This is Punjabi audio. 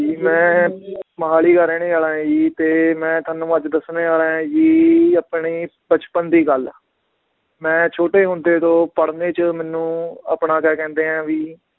ਮੈ ਮੋਹਾਲੀ ਦਾ ਰਹਿਣੇ ਵਾਲਾ ਆ ਜੀ ਤੇ ਮੈ ਤੁਹਾਨੂੰ ਅੱਜ ਦਸਣੇ ਵਾਲਾ ਆਂ ਜੀ ਆਪਣੇ ਬਚਪਨ ਦੀ ਗੱਲ, ਮੈ ਛੋਟੇ ਹੁੰਦੇ ਤੋਂ ਪੜ੍ਹਨੇ ਚ ਮੈਨੂੰ ਆਪਣਾ ਕਿਆ ਕਹਿੰਦੇ ਆ ਵੀ